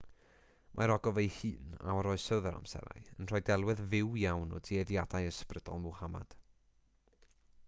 mae'r ogof ei hun a oroesodd yr amserau yn rhoi delwedd fyw iawn o dueddiadau ysbrydol muhammad